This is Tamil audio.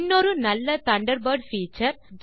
இன்னொரு நல்ல தண்டர்பர்ட் பீச்சர்